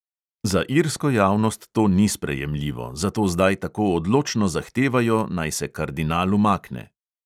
Za irsko javnost to ni sprejemljivo, zato zdaj tako odločno zahtevajo, naj se kardinal umakne.